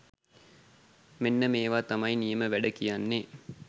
මෙන්න මේවා තමයි නියම වැඩ කියන්නේ.